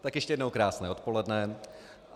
Tak ještě jednou krásné odpoledne.